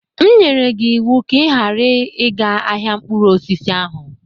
M nyere gị ịwụ ka ị ghara ịga ahịa mkpụrụ osisi ahụ!